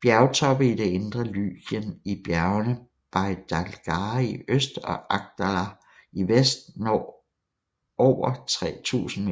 Bjergtoppe i det indre Lykien i bjergene Bey Daglari i øst og Akdaglar i vest når ver 3000